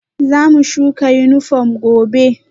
Zamu shuka yunifom gobe